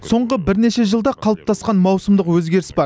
соңғы бірнеше жылда қалыптасқан маусымдық өзгеріс бар